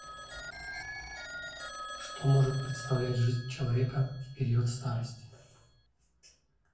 что может представлять жизнь человека в период старости